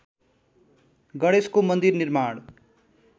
गणेशको मन्दिर निर्माण